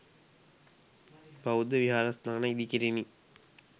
බෞද්ධ විහාරස්ථාන ඉදිකෙරිණි.